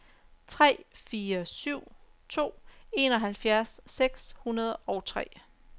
tre fire syv to enoghalvfjerds seks hundrede og tre